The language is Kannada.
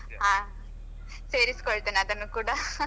ಹಾ ಸೇರಿಸ್ಕೊಳ್ಳುತ್ತೆನೆ ಅದನ್ನು ಕೂಡ